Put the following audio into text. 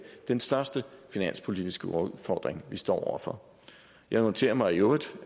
den største finanspolitiske udfordring vi står over for jeg noterer mig i øvrigt